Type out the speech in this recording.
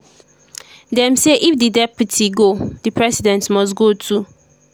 dem say if di deputy go di president must go too.